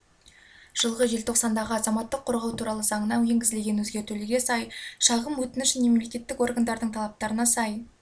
жылғы желтоқсандағы азаматтық қорғау туралы заңына енгізілген өзгертулерге сай шағым өтініш және мемлекеттік органдардың талаптарына сай